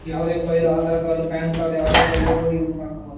ಯಾವದೇ file Aadhaar card PAN card ಯಾವದೇ file ಇದ ಮಾಡ್ಕೋಬಹುದು